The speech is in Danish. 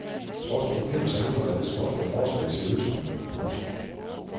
Trods problemets alvor er det småt med forslag til løsninger. punktum